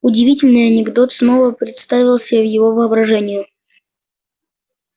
удивительный анекдот снова представился его воображению